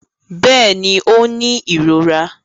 Bẹ́ẹ̀ni, ó ń ní ìrora